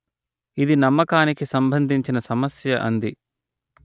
ఇది నమ్మకానికి సంభందించిన సమస్య అంది